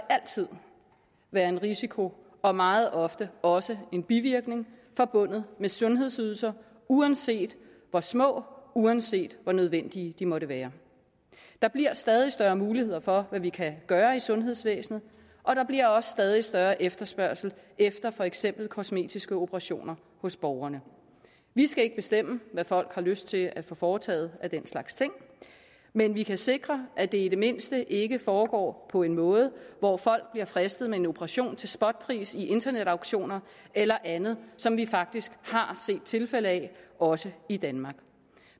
altid være en risiko og meget ofte også en bivirkning forbundet med sundhedsydelser uanset hvor små uanset hvor nødvendige de måtte være der bliver stadig større muligheder for hvad vi kan gøre i sundhedsvæsenet og der bliver også stadig større efterspørgsel efter for eksempel kosmetiske operationer hos borgerne vi skal ikke bestemme hvad folk har lyst til at få foretaget af den slags ting men vi kan sikre at det i det mindste ikke foregår på en måde hvor folk bliver fristet med en operation til spotpris i internetauktioner eller andet som vi faktisk har set tilfælde af også i danmark